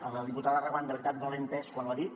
a la diputada reguant de veritat no l’he entès quan ho ha dit